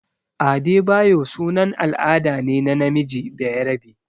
Adebayo sunan al'ada ne na namiji bayarabe.